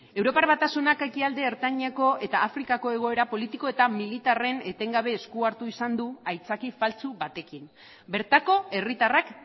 europar batasunak ekialde ertaineko eta afrikako egoera politiko eta militarren etengabe esku hartu izan du aitzaki faltsu batekin bertako herritarrak